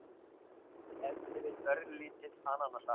ef til vill örlítill ananassafi